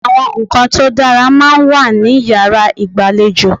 Àwọn ǹkan tó dára máa ń wà ní yàrá ìgbàlejò.